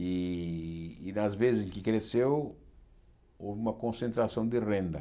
E e nas vezes em que cresceu, houve uma concentração de renda.